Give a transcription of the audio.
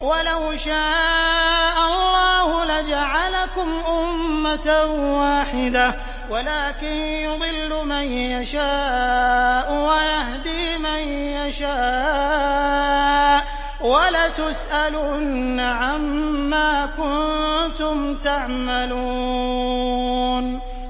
وَلَوْ شَاءَ اللَّهُ لَجَعَلَكُمْ أُمَّةً وَاحِدَةً وَلَٰكِن يُضِلُّ مَن يَشَاءُ وَيَهْدِي مَن يَشَاءُ ۚ وَلَتُسْأَلُنَّ عَمَّا كُنتُمْ تَعْمَلُونَ